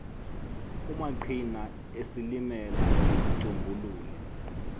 amaqhina esilimela uzicombulule